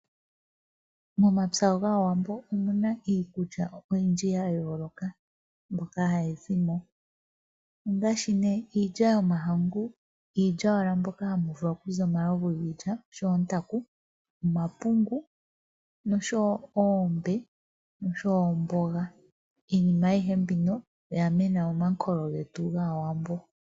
Momapya gaawambo omuna iikulya oyindji ya yooloka mbyoka hayi zimo ongaashi nee iilya yomahangu, iilya wala mbyoka hamu vulu okuza omalovu giilya, oshowo ontaku, omapungu noshowo oombe noshowo omboga. Iinima ayihe mbika oya mena momankolo getu gaawambo.